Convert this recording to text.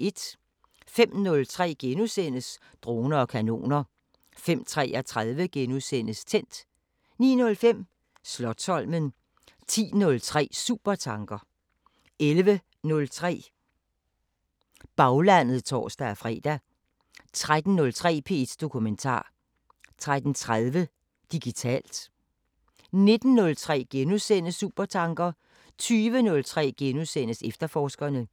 05:03: Droner og kanoner * 05:33: Tændt * 09:05: Slotsholmen 10:03: Supertanker 11:03: Radiofortællinger 11:30: Baglandet (tor-fre) 13:03: P1 Dokumentar 13:30: Digitalt 19:03: Supertanker * 20:03: Efterforskerne *